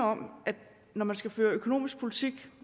om at når man skal føre økonomisk politik